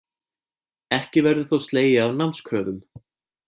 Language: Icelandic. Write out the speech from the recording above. Ekki verður þó slegið af námskröfum